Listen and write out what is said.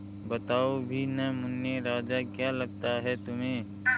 बताओ भी न मुन्ने राजा क्या लगता है तुम्हें